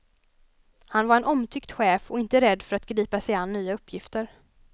Han var en omtyckt chef och inte rädd för att gripa sig an nya uppgifter.